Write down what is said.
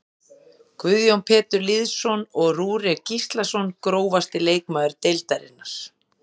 Guðjón Pétur Lýðsson og Rúrik Gíslason Grófasti leikmaður deildarinnar?